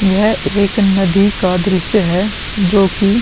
यह एक नदी का दृश्य है जो कि --